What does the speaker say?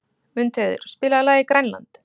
Mundheiður, spilaðu lagið „Grænland“.